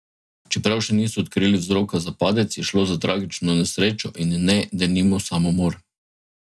Čeprav še niso odkrili vzroka za padec, je šlo za tragično nesrečo in ne, denimo, samomor.